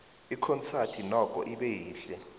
ikhonsadi nokho ibe yihle